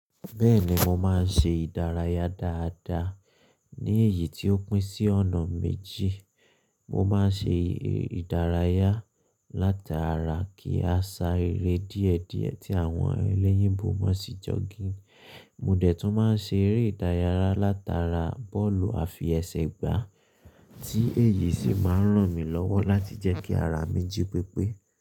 Bẹ́ẹ̀ni mo máa ń ṣe ìdárayá dáadáa. Ní èyí tí ó pín sí ọ̀nà méjì, mo máa ń ṣe ìdárayá látara kí a sá eré díẹ̀díẹ̀ tí àwọn ẹlẹ́yìnbò máa ń ṣe jogging. Mo dẹ̀ tún máa ń ṣe eré ìdárayá látara bọ́ọ̀lù àfi ẹsẹ̀ gbá tí èyí sì máa ń ràn mí lọ́wọ́ láti jẹ́ kí ara mi jí pépé.